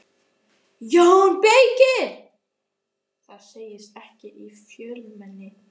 JÓN BEYKIR: Það segist ekki í fjölmenni.